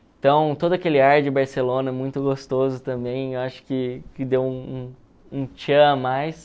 Então, todo aquele ar de Barcelona, muito gostoso também, eu acho que que deu um um a mais.